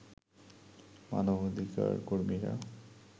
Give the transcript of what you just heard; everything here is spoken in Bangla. মানবাধিকার কর্মীরা